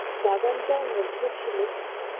বাগানটার মধ্যে ছিল